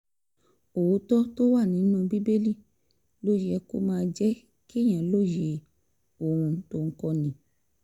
òótọ́ tó wà nínú bíbélì ló yẹ kó máa jẹ́ kéèyàn lóye ohun tó ń kọ́ni